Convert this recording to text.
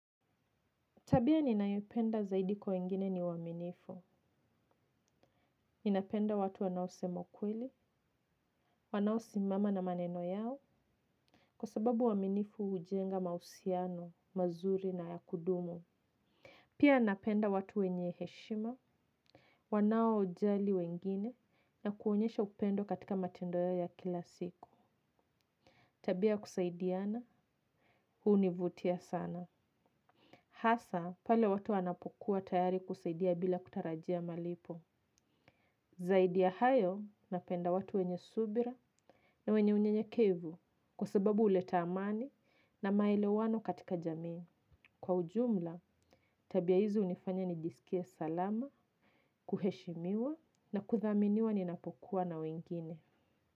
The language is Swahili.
Tabia ninayopenda zaidi kwa wengine ni uaminifu. Ninapenda watu wanaosema ukweli, wanaosimama na maneno yao. Kwa sababu uaminifu hujenga mahusiano mazuri na ya kudumu. Pia napenda watu wenye heshima, wanao jali wengine na kuonyesha upendo katika matendo yao ya kila siku. Tabia ya kusaidiana, huwa huni vutia sana. Hasa, pale watu wanapokuwa tayari kusaidia bila kutarajia malipo. Zaidi ya hayo napenda watu wenye subira na wenye unyenyekevu kwa sababu huleta amani na maelewano katika jamii. Kwa ujumla, tabia hizi hunifanya nijisikie salama, kuheshimiwa na kudhaminiwa ninapokuwa na wengine.